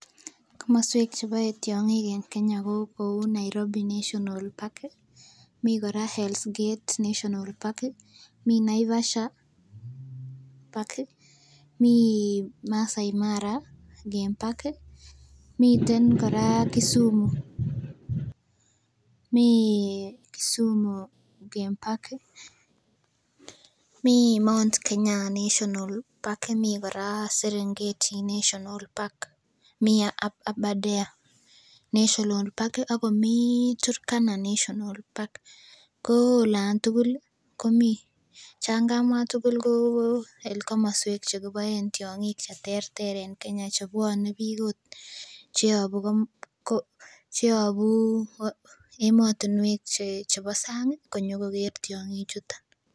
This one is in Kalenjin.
Komoswek che bae tiong'ik en Kenya ko kou Nairobi national park mii kora Hell's gate national park mii Naivasha park mii Masai Mara game park ih miten kora Kisumu mii Kisumu game park ih mii Mount Kenya national park mi kora Serengeti national park mii Abadare national park ih akomii Turkana national park ko olan tugul ih komii chan kamwaa tugul ko komoswek chekibaen tiong'ik cheterter en Kenya chebwone biik ot cheyobu cheyobu emotinwek chebo sang konyokoker tiong'ik chuton